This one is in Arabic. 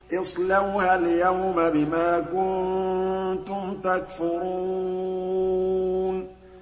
اصْلَوْهَا الْيَوْمَ بِمَا كُنتُمْ تَكْفُرُونَ